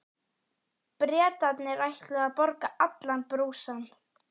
Bretarnir ætluðu að borga allan brúsann.